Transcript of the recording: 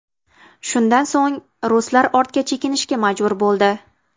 Shundan so‘ng, ruslar ortga chekinishga majbur bo‘ldi.